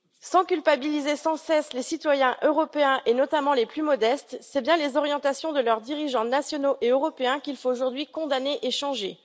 Sans culpabiliser sans cesse les citoyens européens, notamment les plus modestes, c'est bien les orientations de leurs dirigeants nationaux et européens qu'il faut aujourd'hui condamner et changer.